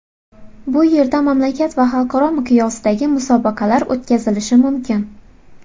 Bu yerda mamlakat va xalqaro miqyosdagi musobaqalar o‘tkazilishi mumkin.